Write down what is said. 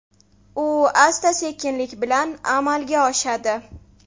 U asta-sekinlik bilan amalga oshadi.